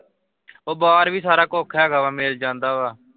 ਓਹ ਬਾਹਰ ਵੀ ਸਾਰਾ ਕੁੱਖ ਹੈਗਾ ਵਾ ਮਿਲ ਜਾਂਦਾ ਵਾ।